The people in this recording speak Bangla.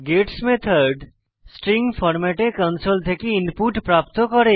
গেট্স মেথড স্ট্রিং ফরম্যাটে কনসোল থেকে ইনপুট প্রাপ্ত করে